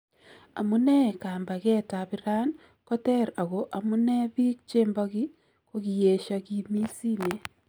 Amunee kaambakeet ab Iran ko teer ako amunee biik chembakii kokiyeshaa kimiis simeet